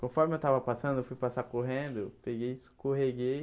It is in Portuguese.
Conforme eu estava passando, eu fui passar correndo, eu peguei, escorreguei,